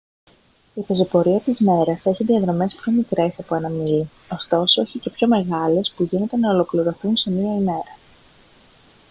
η πεζοπορία της μέρας έχει διαδρομές πιο μικρές από ένα μίλι ωστόσο έχει και πιο μεγάλες που γίνεται να ολοκληρωθούν σε μια ημέρα